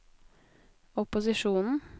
opposisjonen